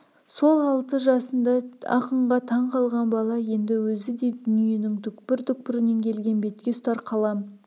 сол алты жасында ақынға таң қалған бала енді өзі де дүниенің түкпір-түкпірінен келген бетке ұстар қалам